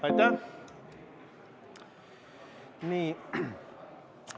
Aitäh!